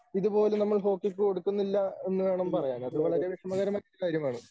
ഇതുപോലും നമ്മൾ ഹോക്കിക്ക് കൊടുക്കുന്നില്ല എന്നുവേണം പറയാൻ. അത് വളരെ വിഷമകരമായൊരു കാര്യമാണ്.